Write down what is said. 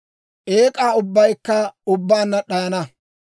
eek'aa ubbaykka ubbaanna d'ayana.